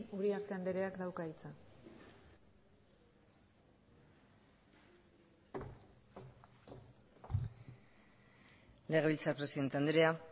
uriarte andreak dauka hitza legebiltzar presidente andrea